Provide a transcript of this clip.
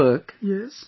About your work